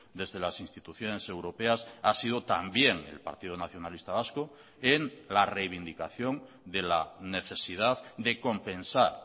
desde las instituciones europeas ha sido también el partido nacionalista vasco en la reivindicación de la necesidad de compensar